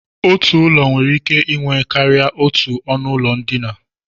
Otu ụlọ nwere ike inwe karịa otú ọnụụlọ ndina